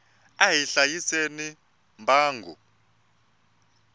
a hi hlayiseni mbango